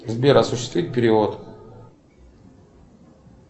сбер осуществи перевод